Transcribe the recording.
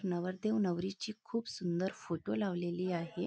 नवरदेव आणि नवरीचे खूप सुंदर फोटो लावलेले आहे.